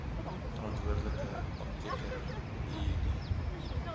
verantwoordelike apteker iiidie